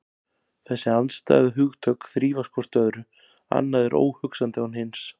Þessi andstæðu hugtök þrífast hvort á öðru, annað er óhugsandi án hins.